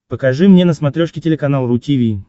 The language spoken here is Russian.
покажи мне на смотрешке телеканал ру ти ви